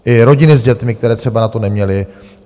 I rodiny s dětmi, které třeba na to neměly.